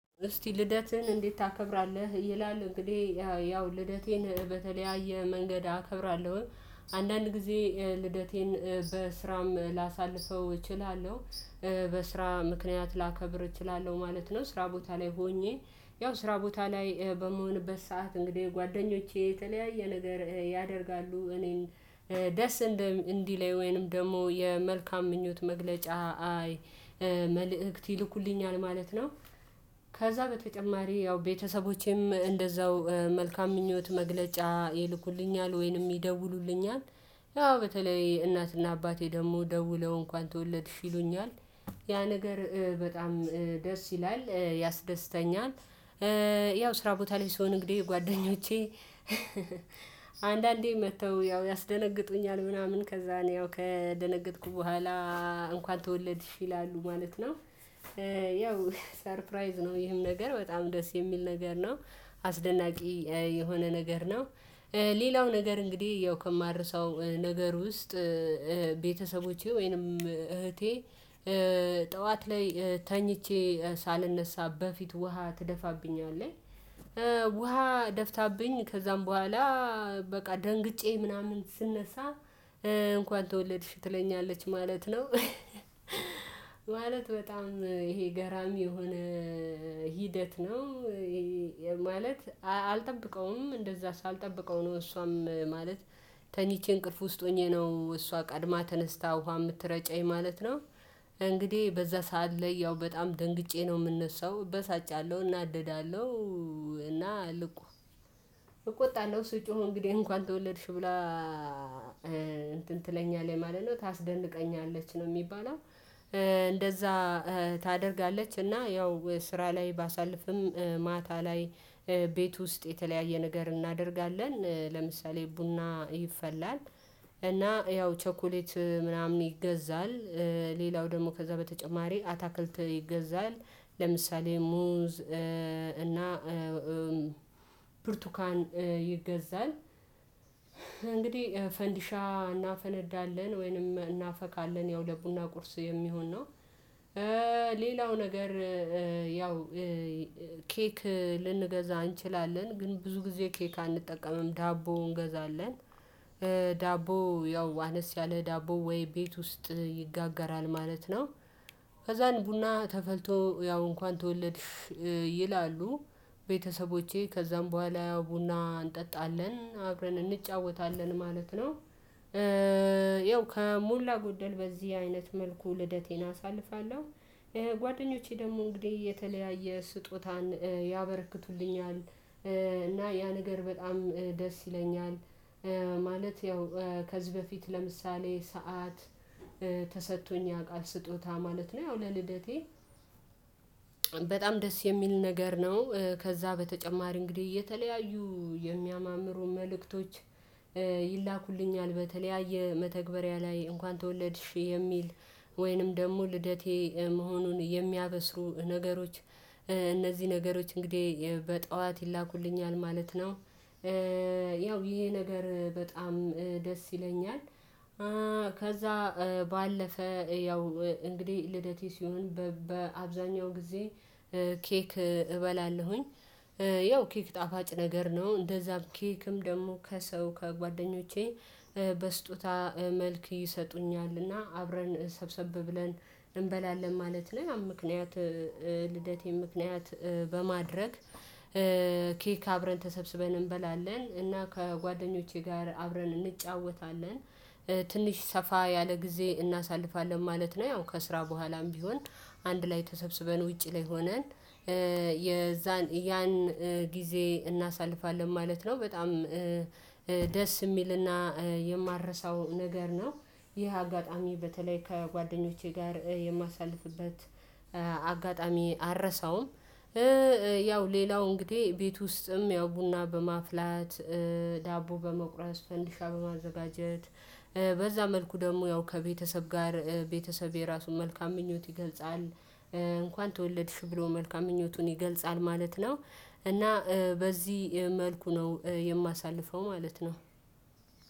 እስቲ ልደትህን እንዴት ታከብራለህ? ይላል እንግዲህ ያው ልደቴን በተለያየ መንገድ አከብራለሁ። አንዳንድ ጊዜ ልደቴን በስራም ላሳልፈው እችላለሁ። በስራ ምክንያት ላከብር እችላለሁ ማለት ነው ስራ ቦታ ላይ ሆኜ። ያው ስራ ቦታ ላይ በምሆንበት ሰዓት እንግዲህ ጓደኞቼ የተለያየ ነገር ያደርጋሉ እኔን ደስ እንዲለኝ ወይንም ደግሞ የመልካም ምኞት መግለጫ አይ መልእክት ይልኩልኛል ማለት ነው። ከዛ በተጨማሪ ያው ቤተሰቦቼም እንደዛው መልካም ምኞት መግለጫ ይልኩልኛል ወይንም ይደውሉልኛል። ያው በተለይ እናትና አባቴ ደግሞ ደውለው እንኳን ተወለድሽ ይሉኛል። ያ ነገር በጣም ደስ ይላል ያስደስተኛል። ያው ስራ ቦታ ላይ ስሆን እንግዲህ ጓደኞቼ። አንዳንዴ መጥተው ያው ያስደነግጡኛል ምናምን ከዛ እኔ ያው ከደነገጥኩ በኋላ እንኳን ተወለድሽ ይላሉ ማለት ነው። ያው ሰርፕራይዝ ነው ይህም ነገር በጣም ደስ የሚል ነገር ነው። አስደናቂ የሆነ ነገር ነው። ሌላው ነገር እንግዲህ ያው ከማርሰው ነገር ውስጥ ቤተሰቦቼ ወይንም እህቴ። ጠዋት ላይ ተኝቼ ሳልነሳ በፊት ውሃ ትደፋብኝ አለች። ውሃ ደፍታብኝ ከዛም በኋላ በቃ ደንግጬ ምናምን ስነሳ እንኳን ተወለድሽ ትለኛለች ማለት ነው። ማለት በጣም ይሄ ገራሚ የሆነ ሂደት ነው። ማለት አልጠብቀውም እንደዛ ሳልጠብቀው ነው እሷም ማለት ተኝቼ እንቅልፍ ውስጥ ሆኜ ነው እሷ ቀድማ ተነስታ ውሃ የምትረጨኝ ማለት ነው። እንግዲህ በዛ ሰዓት ላይ ያው በጣም ደንግጬ ነው የምነሳው እበሳጫለሁ እናደዳለሁ። እና ልቁ እቆጣለሁ ስጮህ እንግዲህ እንኳን ተወለድሽ ብላ እንትን ትለኛለች ማለት ነው። ታስደንቀኛለች ነው የሚባለው እንደዛ። ታደርጋለች እና ያው ስራ ላይ ባሳልፍም ማታ ላይ ቤት ውስጥ የተለያየ ነገር እናደርጋለን። ለምሳሌ ቡና ይፈላል እና ያው ቸኮሌት ምናምን ይገዛል። ሌላው ደግሞ ከዛ በተጨማሪ አታክልት ይገዛል። ለምሳሌ ሙዝ እና ብርቱካን ይገዛል እንግዲህ ፈንዲሻ እናፈነዳለን ወይንም እናፈካለን ያው ለቡና ቁርስ የሚሆን ነው። ሌላው ነገር ያው ኬክ ልንገዛ እንችላለን ግን ብዙ ጊዜ ኬክ አንጠቀምም ዳቦ እንገዛለን። ዳቦ ያው አነስ ያለ ዳቦ ወይ ቤት ውስጥ ይጋገራል ማለት ነው። ከዛን ቡና ተፈልቶ ያው እንኳን ተወለድሽ ይላሉ ቤተሰቦቼ ከዛም በኋላ ያው ቡና እንጠጣለን አብረን እንጫወታለን ማለት ነው። ያው ከሞላ ጎደል በዚህ አይነት መልኩ ልደቴን አሳልፋለሁ። ጓደኞቼ ደግሞ እንግዲህ የተለያየ ስጦታን ያበረክቱልኛል። እና ያ ነገር በጣም ደስ ይለኛል። ማለት ያው ከዚህ በፊት ለምሳሌ ሰዓት ተሰጥቶኝ ያውቃል ስጦታ ማለት ነው ያው ለልደቴ በጣም ደስ የሚል ነገር ነው። ከዛ በተጨማሪ እንግዲህ እ የተለያዩ የሚያማምሩ መልእክቶች ይላኩልኛል በተለያየ መተግበሪያ ላይ እንኳን ተወለድሽ የሚል ወይንም ደግሞ ልደቴ መሆኑን የሚያበስሩ ነገሮች እነዚህ ነገሮች እንግዲህ በጧት ይላኩልኛል ማለት ነው። ያው ይሄ ነገር በጣም ደስ ይለኛል። ከዛ ባለፈ ያው እንግዲህ ልደቴ ሲሆን በአብዛኛው ጊዜ ኬክ እበላለሁኝ። ያው ኬክ ጣፋጭ ነገር ነው እንደዛም ኬክም ደግሞ ከሰው ከጓደኞቼ በስጦታ መልክ ይሰጡኛልና አብረን ሰብሰብ ብለን እንበላለን ማለት ነው። ምክንያቱም ልደቴን ምክንያት በማድረግ ኬክ አብረን ተሰብስበን እንበላለን እና ከጓደኞቼ ጋር አብረን እንጫወታለን። ትንሽ ሰፋ ያለ ጊዜ እናሳልፋለን ማለት ነው። ያው ከስራ በኋላም ቢሆን አንድ ላይ ተሰብስበን ውጪ ላይ ሆነን ያን ጊዜ እናሳልፋለን ማለት ነው። በጣም ደስ የሚልና የማረሳው ነገር ነው። ይህ አጋጣሚ በተለይ ከጓደኞቼ ጋር የማሳልፍበት አጋጣሚ አልረሳውም። ያው ሌላው እንግዲህ ቤት ውስጥም ያው ቡና በማፍላት ዳቦ በመቁረስ ፈንዲሻ በማዘጋጀት በዛ መልኩ ደግሞ ያው ከቤተሰብ ጋር ቤተሰቤ ራሱን መልካም ምኞት ይገልጻል። እንኳን ተወለድሽ ብሎ መልካም ምኞቱን ይገልጻል ማለት ነው። እና በዚህ መልኩ ነው የማሳልፈው ማለት ነው።